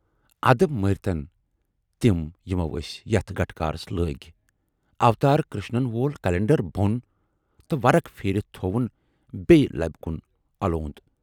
اَدٕ مٔرۍتن تِم یِمو ٲسۍ یَتھ گَٹہٕ کارس لٲگۍ، اوتار کرشنن وول کلنڈر بۅن تہٕ ورُق پھیٖرِتھ تھَوُن بییہِ لبہِ کُن اَلوند